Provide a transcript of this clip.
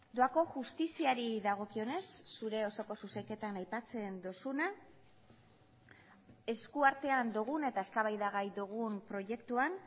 doako justiziari dagokionez zure osoko zuzenketan aipatzen duzuna eskuartean dugun eta eztabaidagai dugun proiektuan